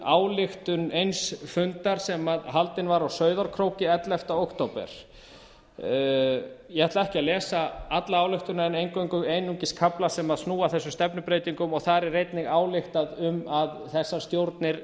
ályktun eins fundar sem haldinn var á sauðárkróki ellefta október ég ætla ekki að lesa alla ályktunina en einungis kafla sem snúa að þessum stefnubreytingum og þar er einnig ályktað um að þessar stjórnir